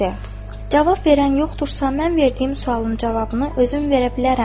Cavab verən yoxdursa mən verdiyim sualın cavabını özüm verə bilərəm.